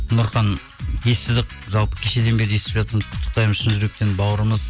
нұрхан естідік жалпы кешеден бері естіп жатырмыз құттықтаймыз шын жүректен бауырымыз